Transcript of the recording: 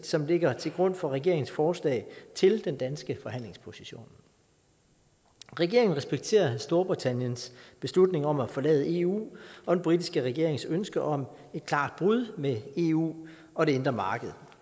som ligger til grund for regeringens forslag til den danske forhandlingsposition regeringen respekterer storbritanniens beslutning om at forlade eu og den britiske regerings ønske om et klart brud med eu og det indre marked